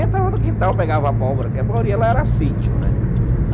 Entrava no quintal, pegava abóbora, porque a maioria lá era sítio, né?